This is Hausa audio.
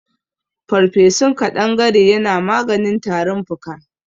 Farfesun kaɗangare yana maganin tarin fuka.